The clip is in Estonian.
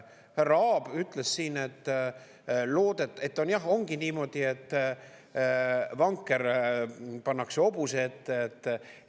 Härra Aab ütles siin, et jah, ongi niimoodi, et vanker pannakse hobuse ette.